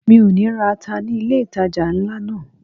Mi ò ní ra ata ní ilé ìtajà ńlá náà.